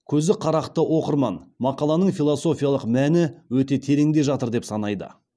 көзі қарақты оқырман мақаланың философиялық мәні өте тереңде жатыр деп санайды